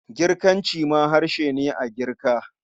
Girkanci ma harshe ne a Girka.